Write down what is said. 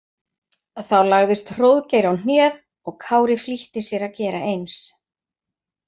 Þá lagðist Hróðgeir á hnéð og Kári flýtti sér að gera eins.